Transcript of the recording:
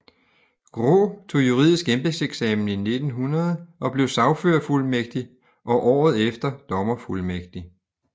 Graae tog juridisk embedseksamen i 1900 og blev sagførerfuldmægtig og året efter dommerfuldmægtig